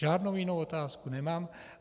Žádnou jinou otázku nemám.